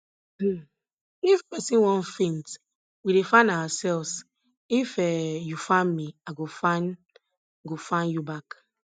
um if person wan faint we dey fan ourselves if um you fan me i go fan go fan you back